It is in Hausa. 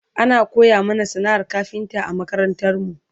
ana koya mana sana'ar kafinta a makarantarmu